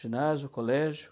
Ginásio, colégio.